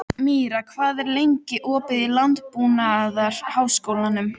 Míra, hvað er lengi opið í Landbúnaðarháskólanum?